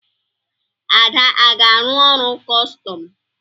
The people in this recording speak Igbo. Ada aga-arụ ọrụ kọstọm?